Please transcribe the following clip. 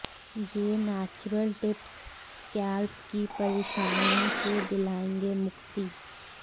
ये natural tips scalp की परेशानियों से दिलाएंगे मुक्ति